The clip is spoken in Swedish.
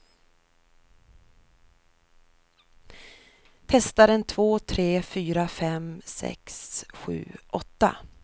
Testar en två tre fyra fem sex sju åtta.